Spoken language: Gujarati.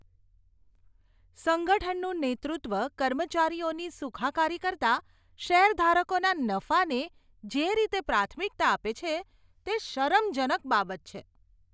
સંગઠનનું નેતૃત્વ કર્મચારીઓની સુખાકારી કરતાં શેરધારકોના નફાને જે રીતે પ્રાથમિકતા આપે છે, તે શરમજનક બાબત છે.